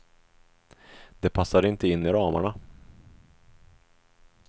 Det passade inte in i ramarna.